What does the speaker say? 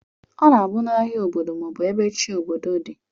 Ọna abu na ahia obodo ma ọbu ebe chi obodo di.